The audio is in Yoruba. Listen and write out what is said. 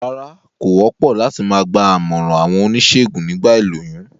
Rárá, kò wópò láti ma gba àmòràn àwon onísègùn nígba ìlóyún